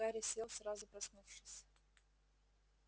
гарри сел сразу проснувшись